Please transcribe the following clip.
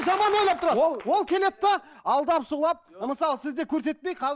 жаман ойлап тұрады ол ол келеді де алдап сулап мысалы сізді көрсетпей